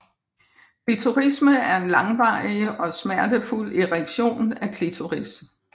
Klitorisme er en langvarig og smertefuld erektion af klitoris